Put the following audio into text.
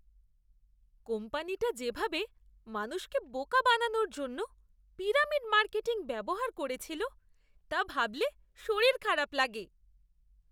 কোম্পানিটা যে ভাবে মানুষকে বোকা বানানোর জন্য পিরামিড মার্কেটিং ব্যবহার করেছিল তা ভাবলে শরীর খারাপ লাগে।